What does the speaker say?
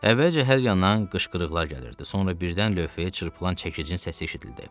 Əvvəlcə hər yandan qışqırıqlar gəlirdi, sonra birdən lövhəyə çırpılan çəkicin səsi eşidildi.